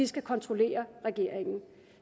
skal kontrollere regeringen